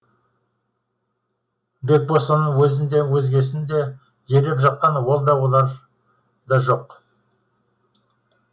бекбосынның өзін де өзгесін де елеп жатқан ол да олар да жоқ